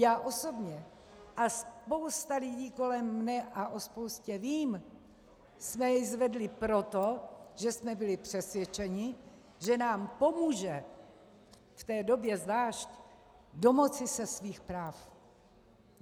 Já osobně a spousta lidí kolem mne, a o spoustě vím, jsme ji zvedli proto, že jsme byli přesvědčeni, že nám pomůže, v té době zvlášť, domoci se svých práv.